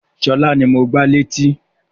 Sọlá ni mo gbá létí